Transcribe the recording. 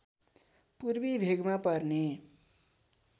पूर्वी भेगमा पर्ने